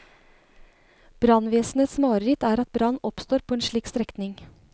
Brannvesenets mareritt er at brann oppstår på en slik strekning.